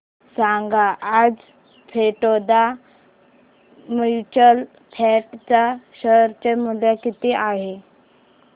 सांगा आज Baroda mutual fund च्या शेअर चे मूल्य किती आहे